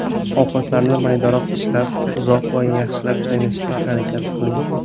Ovqatlarni maydaroq tishlab, uzoq va yaxshilab chaynashga harakat qiling.